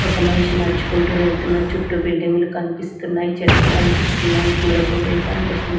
ఒక మనిషి నడుచుకుంటూ వెళ్తున్నారు చుట్టూ బిల్డింగ్లు కనిపిస్తున్నాయి చెట్లు కనిపిస్తున్నాయి పూల కుండీలు కనిపిస్తు--